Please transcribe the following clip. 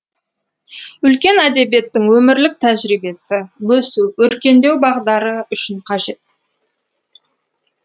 үлкен әдебиеттің өмірлік тәжірибесі өсу өркендеу бағдары үшін қажет